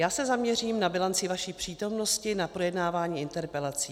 Já se zaměřím na bilanci vaší přítomnosti na projednávání interpelací.